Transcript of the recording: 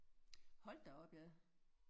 Hold da op ja